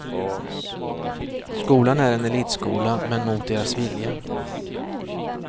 Skolan är en elitskola, men mot deras vilja.